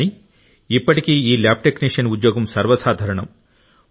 కానీ ఇప్పటికీ ఈ ల్యాబ్ టెక్నీషియన్ ఉద్యోగం సర్వసాధారణం